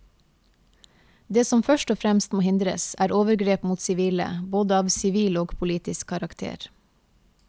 Det som først og fremst må hindres, er overgrep mot sivile, både av sivil og politisk karakter.